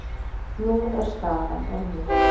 Nú er staðan önnur.